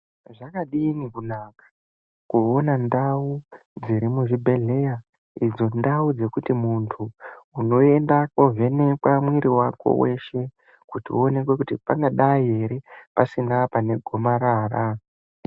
Zvakadi kunaka kuona ndau dziri muzvibhehlera. Idzo ndau dzekuti munhu unoenda kunondovhenekwa mwiri weshe kuonekwa kuti pangadayi ere pasina gomarara.